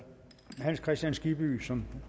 som